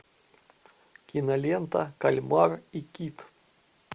кинолента кальмар и кит